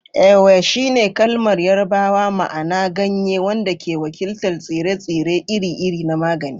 Ewe shine kalmar Yarbawa ma'ana "ganye," wanda ke wakiltar tsire-tsire iri-iri na magani.